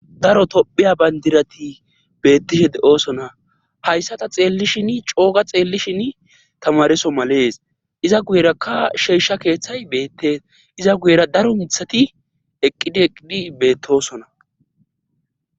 Daro tophiya bayndirati beettishe de7osona hayssata xeellishin cooga xeellishin tamareso malees iza guyerakka sheesha keeththay beette iza guyera daro mithati eqqidi eqqidi beettosona